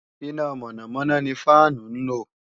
Iná mọ̀nàmọ̀nà ni fáànù ń lò